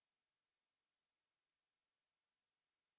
इसलिए मैं यहाँ एकोecho लिखूँगा